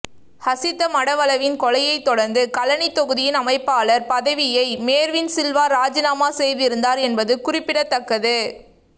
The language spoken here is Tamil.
ஹசித மடவலவின் கொலையைத் தொடர்ந்து களனி தொகுதியின் அமைப்பாளர் பதவியை மேர்வின் சில்வா ராஜினாமா செய்திருந்தார் என்பது குறிப்பிடத்தக்கது